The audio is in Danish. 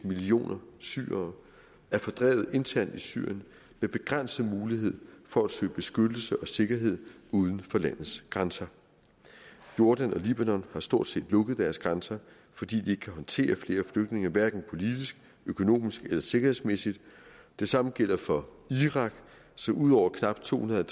millioner syrere er fordrevet internt i syrien med begrænset mulighed for at søge beskyttelse og sikkerhed uden for landets grænser jordan og libanon har stort set lukket deres grænser fordi de ikke kan håndtere flere flygtninge hverken politisk økonomisk eller sikkerhedsmæssigt det samme gælder for irak som ud over knap tohundrede